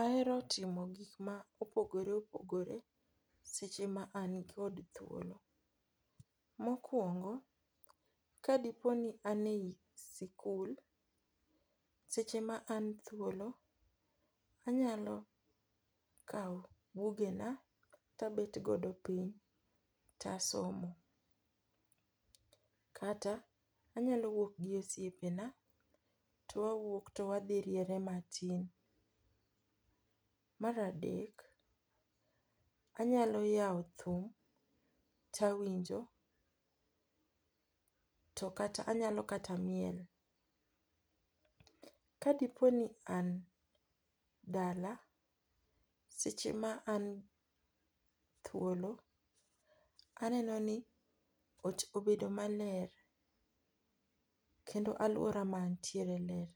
ahero timo gik ma opogore opogore seche ma an kod thuolo. mokuongo, kadi poni an e sikul, seche ma an thuolo, anyalo kawo buge na tabet godo piny to asomo, kata anyalo wuok gi osiepena to wawuok to wadhi riere matin. mar adek, anyalo yao thum ta winjo to kata anyalo kata miel. Ka diponi an dala, seche ma an thuolo, aneno ni ot obedo maler kendo aluora ma antiere ler.